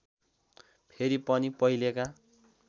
फेरि पनि पहिलेका